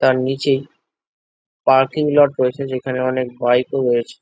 তার নিচে parking lot রয়েছে যেখানে অনেক বাইক -ও রয়েছে ।